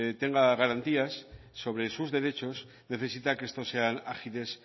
tenga garantías sobre sus derechos necesita que estos sean agiles